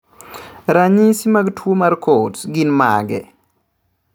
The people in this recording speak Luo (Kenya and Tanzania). Ranyisi mag tuwo mar Coats gin mage?